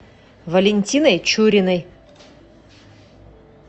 валентиной чуриной